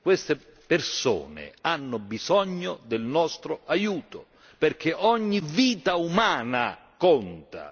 Queste persone hanno bisogno del nostro aiuto perché ogni vita umana conta!